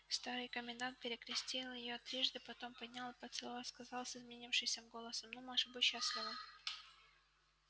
старый комендант перекрестил её трижды потом поднял и поцеловав сказал с изменившимся голосом ну маша будь счастлива